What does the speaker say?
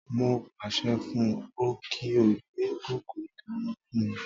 Mo pàṣẹ fún ọ kí ó gbé kòkò ìdáná fún mi